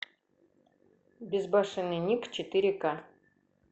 безбашенный ник четыре ка